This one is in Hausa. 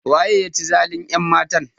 Waye ya ci zalin ƴanmatan?